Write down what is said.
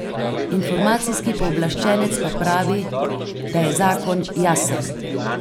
Informacijski pooblaščenec pa pravi, da je zakon jasen.